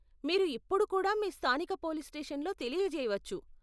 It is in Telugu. మీరు ఇప్పుడు కూడా మీ స్థానిక పోలీస్ స్టేషన్లో తెలియజేయవచ్చు.